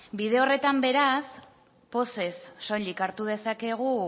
bide horretan beraz pozez soilik hartu dezakegu